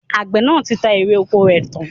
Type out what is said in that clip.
Àgbẹ̀ náà ti ta èrè ọkọ rẹ̀ tán